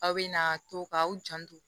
Aw bɛna to ka aw janto